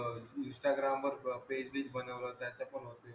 अह instagram वर page बीज बनवलं त्याचं पण होते.